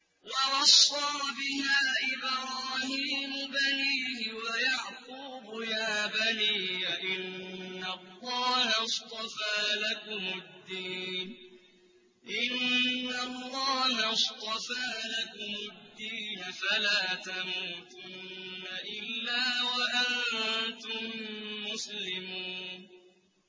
وَوَصَّىٰ بِهَا إِبْرَاهِيمُ بَنِيهِ وَيَعْقُوبُ يَا بَنِيَّ إِنَّ اللَّهَ اصْطَفَىٰ لَكُمُ الدِّينَ فَلَا تَمُوتُنَّ إِلَّا وَأَنتُم مُّسْلِمُونَ